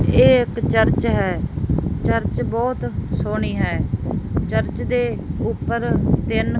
ਇਹ ਏਕ ਚਰਚ ਹੈ ਚਰਚ ਬਹੁਤ ਸੋਹਣੀ ਹੈ ਚਰਚ ਦੇ ਊਪਰ ਤਿੰਨ--